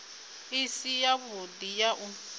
i si yavhudi ya u